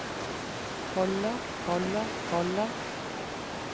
holder holder holder